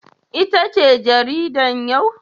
Ita ce jaridar yau?